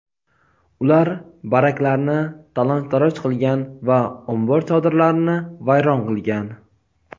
ular baraklarni talon-toroj qilgan va ombor chodirlarini vayron qilgan.